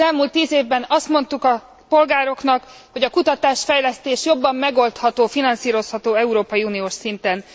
Az elmúlt tíz évben azt mondtuk a polgároknak, hogy a kutatásfejlesztés jobban megoldható, finanszírozható európai uniós szinten.